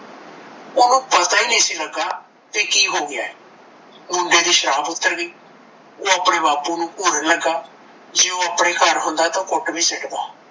ਓਹਨੂੰ ਪਤਾ ਹੀ ਨਹੀਂ ਸੀ ਲੱਗਾ ਬੀ ਕੀ ਹੋ ਗਿਆ ਐ ਮੁੰਡੇ ਦੀ ਸ਼ਰਾਬ ਉੱਤਰ ਗਈ ਓਹ ਆਪਣੇ ਬਾਪੂ ਨੂੰ ਘੂਰਨ ਲੱਗਾ ਜੇ ਓਹ ਆਪਣੇ ਘਰ ਹੁੰਦਾ ਤਾਂ ਓਹ ਕੁੱਟ ਵੀ ਸਕਦਾ